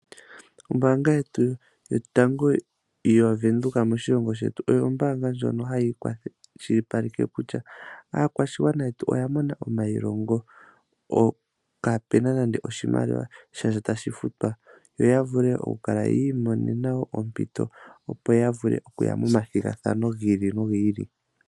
Ombaanga yetu ya Venduka moshilongo shetu, oyo ombaanga ndjono hayi kwashilipaleke kutya, aakwashigwana yetu oya mona omailongo, kaapu na nande oshimaliwa shasha tashi futwa, yo ya vule oku kala yi imonena woo ompito, opo ya vule okuya mo mathigathano gi ili nogi ili.